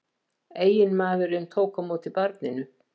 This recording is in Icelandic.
Eiginmaðurinn tók á móti barninu